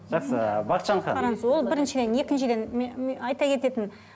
жақсы бақытжан ханым қараңыз ол біріншіден екіншіден айта кететін